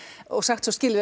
og sagt svo skilið